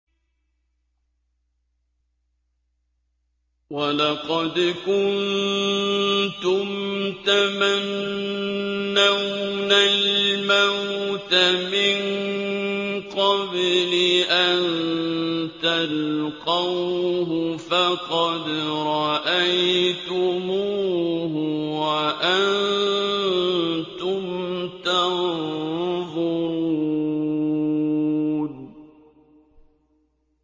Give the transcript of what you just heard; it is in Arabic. وَلَقَدْ كُنتُمْ تَمَنَّوْنَ الْمَوْتَ مِن قَبْلِ أَن تَلْقَوْهُ فَقَدْ رَأَيْتُمُوهُ وَأَنتُمْ تَنظُرُونَ